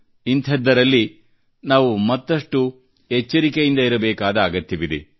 ಇಂತಹದ್ದರಲ್ಲಿ ನಾವು ಮತ್ತಷ್ಟು ಎಚ್ಚರಿಕೆಯಿಂದ ಇರಬೇಕಾದ ಅಗತ್ಯವಿದೆ